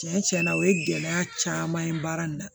Tiɲɛ tiɲɛ na o ye gɛlɛya caman ye baara in na